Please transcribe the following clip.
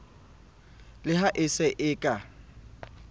le ha e se ka